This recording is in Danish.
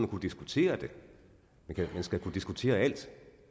kunne diskutere det man skal kunne diskutere alt